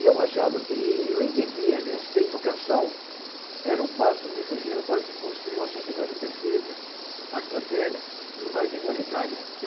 E eu achava que, eu entendia, aliás, que a educação era um passo decisivo para se construir uma sociedade perfeita, mais fraterna e mais igualitária.